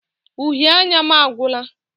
Uhie anya m agwụla.